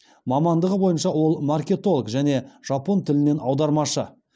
мамандығы бойынша ол маркетолог және жапон тілінен аудармашы